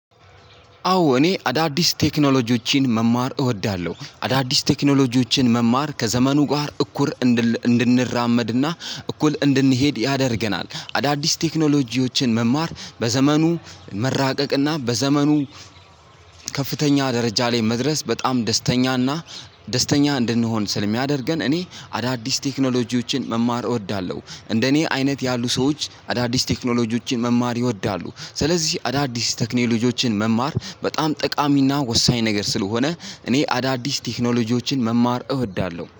አዎ እኔ አዳዲስ ቴክኖሎጂዎችን መማር እወዳለሁ አዳዲስ ቴክኖሎጂዎችን መማር ከዘመኑ ጋር እኩል እንድንራመድና እኩል እንድንሄድ ያደርገናል አዳዲስ ቴክኖሎጂዎችን መማር በዘመኑ መራቀቅና በዘመኑ ከፍተኛ ደረጃ ላይ መድረስ በጣም ደስተኛና ደስተኛ እንድንሆን ስለሚያደርገን። እኔ አዳዲስ ቴክኖሎጂዎችን መማር እወዳለሁ እንደኔ አይነት ያሉ ሰዎች አዳዲስ ቴክኖሎጂዎችን መማር ይወዳሉ። ስለዚህ አዳዲስ ቴክኖሎጂዎችን መማር በጣም ጠቃሚና ወሳኝ ነገር ስለሆነ እኔ አዳዲስ ቴክኖሎጂዎችን መማር እወዳለሁ